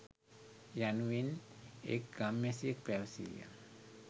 යනුවෙන් එක් ගම්වැසියෙක් පැවසීය.